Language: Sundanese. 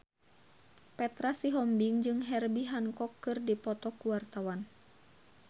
Petra Sihombing jeung Herbie Hancock keur dipoto ku wartawan